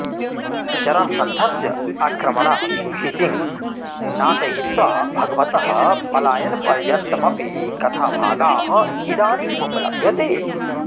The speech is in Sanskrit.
जरासन्धस्य आक्रमणात् भीतिं नाटयित्वा भगवतः पलायनपर्यन्तमपि कथाभागाः इदानीमुपलभ्यते